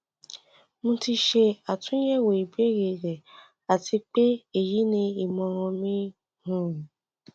mo ti ṣe atunyẹwo ibeere rẹ ati pe eyi ni imọran mi um